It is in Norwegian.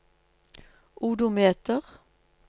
odometer